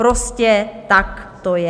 Prostě tak to je.